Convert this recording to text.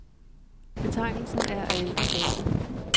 Betegnelsen er af ældre dato.